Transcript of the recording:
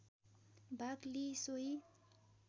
भाग लिई सोही